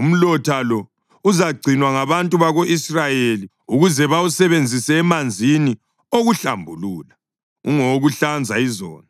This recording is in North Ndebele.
Umlotha lo uzagcinwa ngabantu bako-Israyeli ukuze bawusebenzise emanzini okuhlambulula; ungowokuhlanza izono.